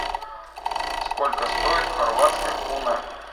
сколько стоит хорватская куна